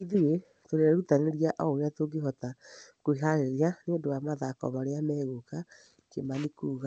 Ithuĩ tũrerutanĩria o ũria tũngĩhota kwĩharĩria nĩũndũ wa mathako marĩa megũka." Kimani kuga.